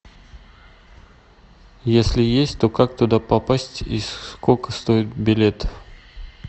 если есть то как туда попасть и сколько стоит билет